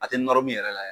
A tɛ nɔrɔ min yɛrɛ la